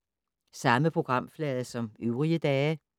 Samme programflade som øvrige dage